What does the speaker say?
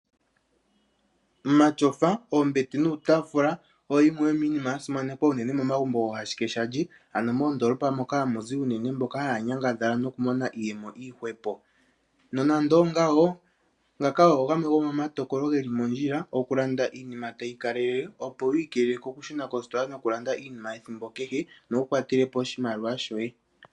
Omatsofa ,oombete, nuutafula oyo yimwe yomiinima yasimsnekwa uunene momagumbo goohashuke shalye ano moondolopa moka hamu zi mboka haa nyangadhala uunene noku mona iiyemo iihwepo nonando ongawo ngaka omatokolo geli mondjila okulanda iinima opo wu ikeelwle okushuna kositola ethimbo kehe nowu kwatele po oshimaliwa shoye.